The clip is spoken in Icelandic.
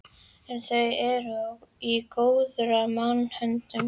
En þau eru í góðra manna höndum.